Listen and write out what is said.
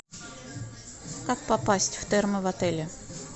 как попасть в термо в отеле